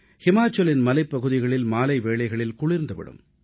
இமாசலப் பிரதேச மலைப் பகுதிகளில் மாலை நேரத்திலேயே கடும் குளிர் தொடங்கிவிடும்